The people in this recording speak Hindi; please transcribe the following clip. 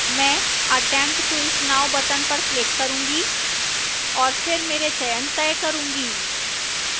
मैं attempt quiz now button पर click करूंगी और फिर मेरे चयन तय करूंगी